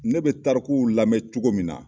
Ne bɛ tarikuw lamɛn cogo min na